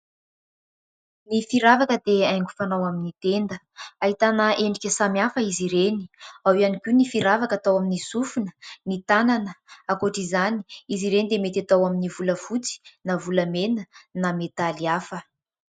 Ny firavaka dia haingo fanao amin'ny tenda. Ahitana endrika samihafa izy ireny ; ao ihany koa ny firavaka atao amin'ny sofina, ny tànana. Ankoatr'izany, izy ireny dia mety atao amin'ny volafotsy na volamena na medaly hafa.